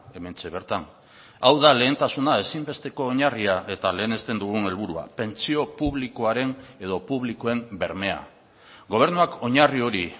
hementxe bertan hau da lehentasuna ezinbesteko oinarria eta lehenesten dugun helburua pentsio publikoaren edo publikoen bermea gobernuak oinarri hori